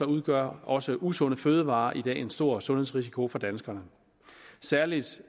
udgør også usunde fødevarer i dag en stor sundhedsrisiko for danskerne særlig